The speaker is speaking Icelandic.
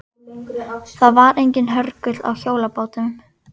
Það var enginn hörgull á hjólabátum.